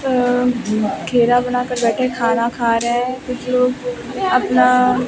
अह घेरा बना कर बैठे है खाना खा रहे हैं कुछ लोग अपना--